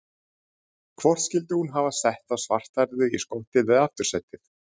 Hvort skyldi hún hafa sett þá svarthærðu í skottið eða aftursætið?